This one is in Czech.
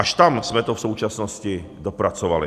Až tam jsme to v současnosti dopracovali.